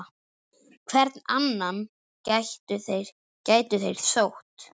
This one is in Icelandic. Hvern annan gætu þeir sótt?